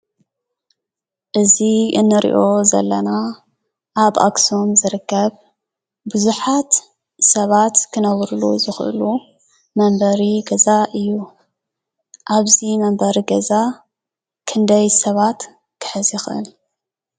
እዚ እንሪኦ ዘለና ኣብ ኣክሱም ዝርከብ ብዙሓት ሰባት ክነብርሉ ዝኽእሉ መንበሪ ገዛ እዩ። ኣብዚ መንበሪ ገዛ ክንደይ ሰባት ክሕዝ ይኽእል?